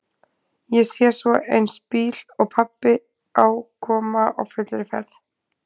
Ég sé svo eins bíl og pabbi á koma á fullri ferð.